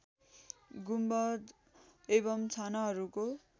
गुम्बद एवम् छानाहरूको